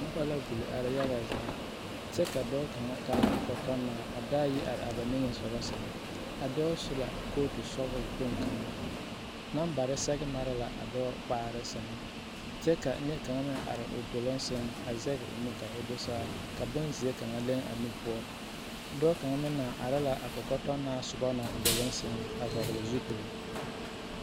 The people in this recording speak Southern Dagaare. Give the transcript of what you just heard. Noba la a ɡbuli are yaɡa zaa kyɛ ka dɔɔ kaŋa taa kɔkɔtɔnaa a daayi are a ba niŋe soɡa a dɔɔ su la kootusɔɔle kpoŋ kaŋa nambare sɛɡe mare la a dɔɔ kpaare sɛŋ kyɛ ka neɛ kaŋ meŋ are o doloŋ sɛŋ a zɛɡe o nu ka o do saa ka bonzeɛ kaŋa leŋ a nu poɔ dɔɔ kaŋ meŋ naŋ are la a kɔkɔtɔnaa doloŋ sɛŋ a vɔɡele zupili.